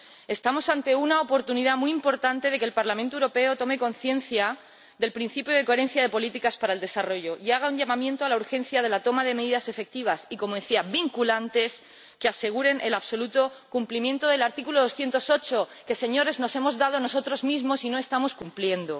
Estamos ante una oportunidad muy importante de que el Parlamento Europeo tome conciencia del principio de coherencia de las políticas en favor del desarrollo y haga un llamamiento a la urgencia de la toma de medidas efectivas y —como decía— vinculantes que aseguren el absoluto cumplimiento del artículo 208 que, Señorías, nos hemos dado nosotros mismos y no estamos cumpliendo.